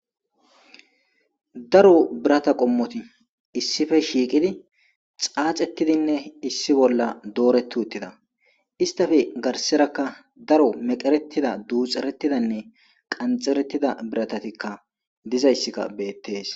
Daro birata qommoti issippe shiqqiddi xaaxetidi nne issi bolla doretti uttida isitappe kka garissera daro meqeretida duxeretida nne qanixerettida biratatikka dizayissikka beteees.